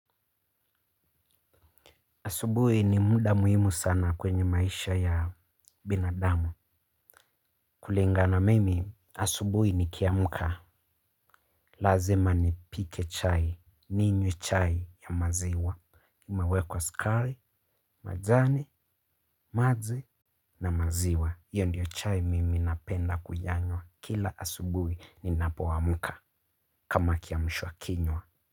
Asubuhi ni muda muhimu sana kwenye maisha ya binadamu. Kulingana mimi asubuhi nikiamka lazima nipike chai. Ninywe chai ya maziwa. Imewekwa skari majani maji na maziwa. Iyo ndio chai mimi napenda kuyanywa. Kila asubuhi ninapo amka kama kiamsha kinywa.